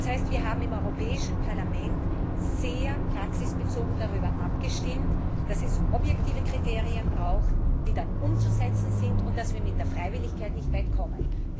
Das heißt, wir haben im Europäischen Parlament sehr praxisbezogen darüber abgestimmt, dass es objektive Kriterien braucht, die dann umzusetzen sind, und dass wir mit der Freiwilligkeit nicht weit kommen.